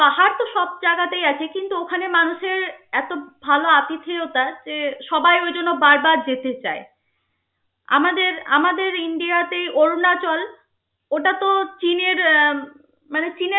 সব জাগাতেই আছে কিন্তু ওখানে মানুষের এত ভাল আতিথেয়তা যে সবাই ওই জন্য বার বার যেতে চায়. আমাদের আমাদের ইন্ডিয়াতে অরুণাচল ওটা তো চীনের উম মানে